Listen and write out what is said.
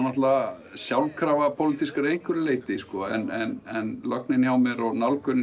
sjálfkrafa pólitískir að einhverju leyti en lögnin hjá mér og nálgunin